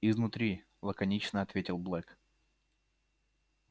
изнутри лаконично ответил блэк